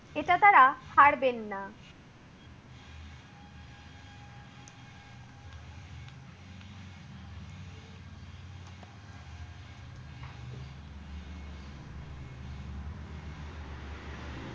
এটা তারা হারবেন না।